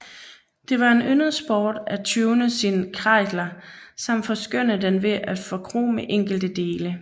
Det var en yndet sport at tune sin Kreidler samt forskønne den ved at forkrome enkelte dele